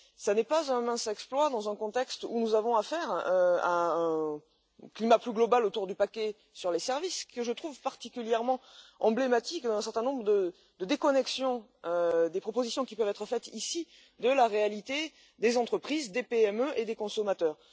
Cela n'est pas un mince exploit dans un contexte où nous avons affaire à un climat plus global, autour du paquet sur les services, que je trouve particulièrement emblématique de la déconnexion d'un certain nombre des propositions qui peuvent être faites ici avec la réalité des entreprises, des PME et des consommateurs.